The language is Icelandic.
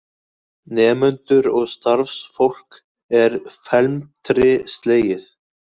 Nemendur og starfsfólk er felmtri slegið